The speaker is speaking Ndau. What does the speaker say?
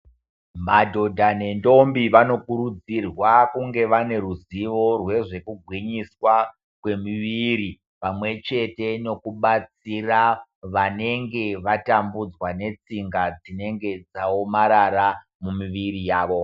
Madhodha nendombi vanokurudzirwa kunge vane ruzivo rwezvekugwinyiswa kwemiviri, pamwe chete nekubatsira vanenge vatambudzwa netsinga dzinenge dzaomarara, mumiviri yavo.